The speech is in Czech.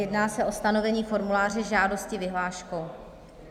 Jedná se o stanovení formuláře žádosti vyhláškou.